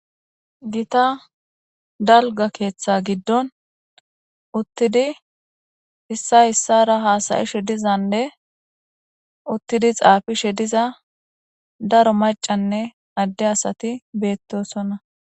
Gita dalga keeththa giddon uttidi issa issara haasayishe dizanne uttidi xaafi she diza daro macanne adde asati beettosonna.